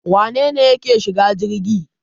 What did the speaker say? Wane ne yake shiga jirgi